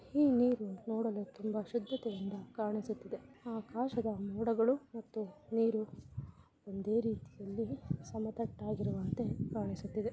ಹೀ ನೀರು ನೋಡಲು ತುಂಬಾ ಶುದ್ಧತೆ ಇಂದ ಕಾಣಿಸುತ್ತಿದೆ. ಆಕಾಶದ ಮೋಡಗಳು ಮತ್ತು ನೀರು ಒಂದೇ ರೀತಿಯಲ್ಲಿ ಸಮಾತಟ್ಟಾಗಿ ಇರುವಂತೆ ಕಾಣಿಸುತ್ತಿದೆ.